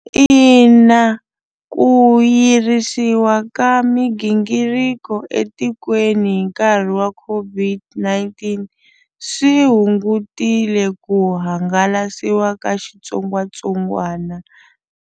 Ina ku yirisiwa ka migingiriko etikweni hi nkarhi wa COVID-19 swi hungutile ku hangalasiwa ka xitsongwatsongwana.